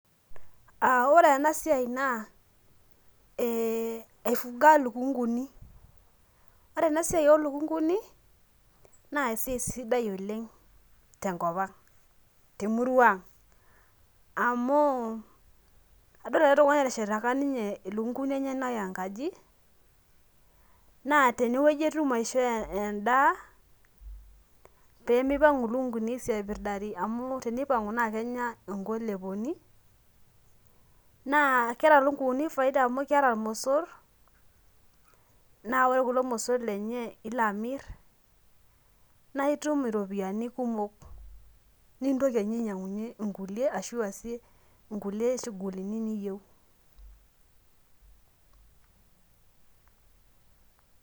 Ore ena siai naa aifunga lukunkuni ,ore ena siai oolukunkuni naa esiai sidai oleng tenkopang amu adol ake likae tungani eteshataki lukunkuni enyenak enkaji naa teneweji etum aishoo endaa pee metum ilukunkuni aisiapirdari amu tenipangu naa kenya nkoileponi ,naa keeta lukunkuni faida amu keeta iromosor naa ore kulo mosor lenye na ilo amir naa itum iropiyiani kumok nintoki ainyangunyie kulie ashu iasie nkulie shugulini niyieu.